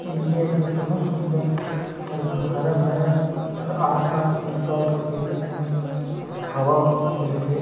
Area जग बहुत सुन्दर और हरा-भरा हर आस पास पेड़-पौधा जेकर से ला हवा मिलथे।